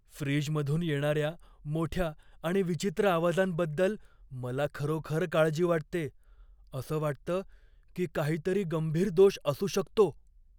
फ्रीजमधून येणाऱ्या मोठ्या आणि विचित्र आवाजांबद्दल मला खरोखर काळजी वाटते, असं वाटतं की काहीतरी गंभीर दोष असू शकतो.